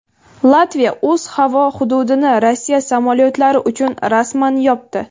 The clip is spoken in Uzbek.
Latviya o‘z havo hududini Rossiya samolyotlari uchun rasman yopdi.